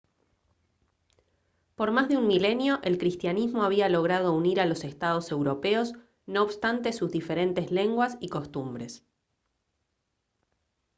por más de un milenio el cristianismo había logrado unir a los estados europeos no obstante sus diferentes lenguas y costumbres